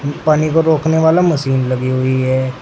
पानी को रोकने वाला मशीन लगी हुई है।